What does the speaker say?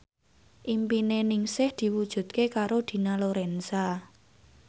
impine Ningsih diwujudke karo Dina Lorenza